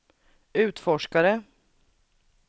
utforskare